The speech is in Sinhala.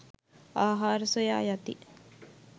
ආහාර සොයා යති